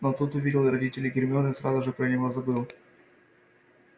но тут увидел родителей гермионы и сразу же про него забыл